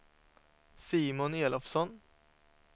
Simon Elofsson